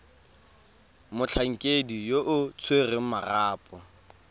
motlhankedi yo o tshwereng marapo